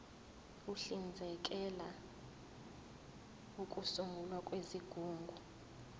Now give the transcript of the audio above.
uhlinzekela ukusungulwa kwezigungu